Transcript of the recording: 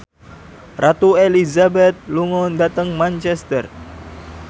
Ratu Elizabeth lunga dhateng Manchester